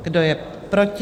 Kdo je proti?